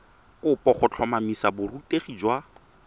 kopo go tlhotlhomisa borutegi jwa